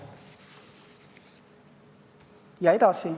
" Ja edasi.